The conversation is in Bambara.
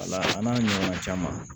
Wala an n'a ɲɔgɔnna caman caman